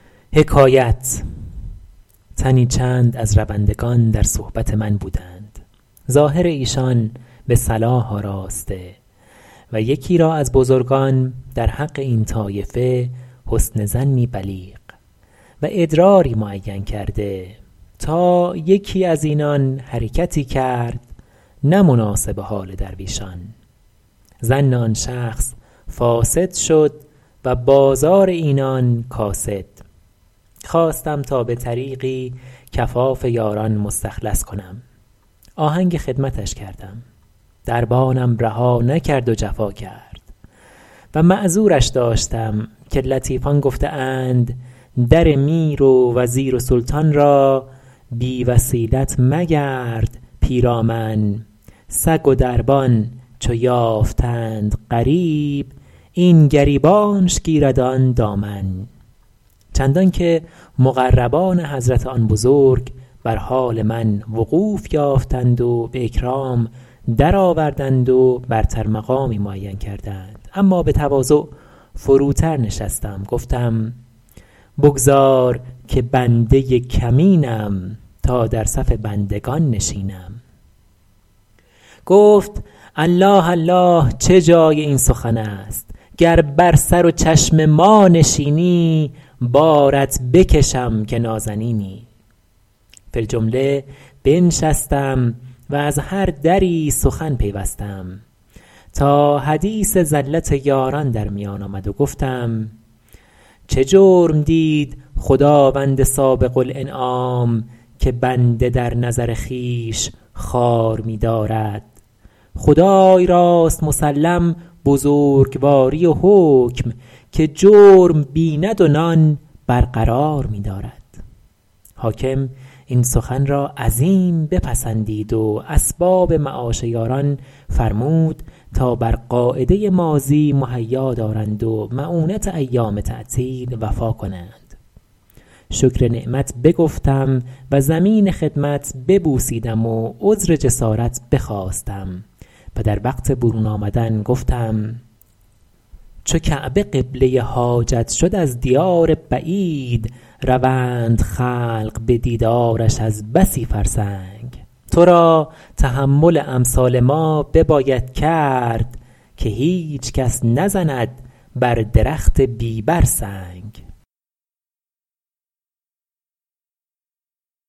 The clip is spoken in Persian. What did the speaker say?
تنی چند از روندگان در صحبت من بودند ظاهر ایشان به صلاح آراسته و یکی را از بزرگان در حق این طایفه حسن ظنی بلیغ و ادراری معین کرده تا یکی از اینان حرکتی کرد نه مناسب حال درویشان ظن آن شخص فاسد شد و بازار اینان کاسد خواستم تا به طریقی کفاف یاران مستخلص کنم آهنگ خدمتش کردم دربانم رها نکرد و جفا کرد و معذورش داشتم که لطیفان گفته اند در میر و وزیر و سلطان را بی وسیلت مگرد پیرامن سگ و دربان چو یافتند غریب این گریبانش گیرد آن دامن چندان که مقربان حضرت آن بزرگ بر حال وقوف من وقوف یافتند و به اکرام درآوردند و برتر مقامی معین کردند اما به تواضع فروتر نشستم و گفتم بگذار که بنده کمینم تا در صف بندگان نشینم گفت الله الله چه جای این سخن است گر بر سر و چشم ما نشینی بارت بکشم که نازنینی فی الجمله بنشستم و از هر دری سخن پیوستم تا حدیث زلت یاران در میان آمد و گفتم چه جرم دید خداوند سابق الانعام که بنده در نظر خویش خوار می دارد خدای راست مسلم بزرگواری و حکم که جرم بیند و نان برقرار می دارد حاکم این سخن را عظیم بپسندید و اسباب معاش یاران فرمود تا بر قاعده ماضی مهیا دارند و مؤونت ایام تعطیل وفا کنند شکر نعمت بگفتم و زمین خدمت ببوسیدم و عذر جسارت بخواستم و در وقت برون آمدن گفتم چو کعبه قبله حاجت شد از دیار بعید روند خلق به دیدارش از بسی فرسنگ تو را تحمل امثال ما بباید کرد که هیچ کس نزند بر درخت بی بر سنگ